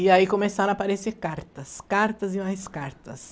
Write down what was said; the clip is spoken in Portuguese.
E aí começaram a aparecer cartas, cartas e mais cartas.